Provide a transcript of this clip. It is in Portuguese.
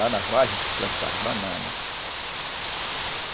Lá na a gente plantava banana.